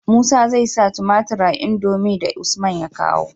Musa zai sa tumatir a indomie da usman ya kawo